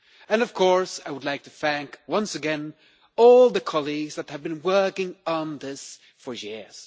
I would, of course, like to thank once again all the colleagues who have been working on this for years.